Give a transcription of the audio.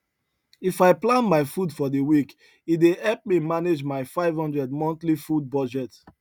if i plan my food for the week e dey help me manage my 500 monthly food budget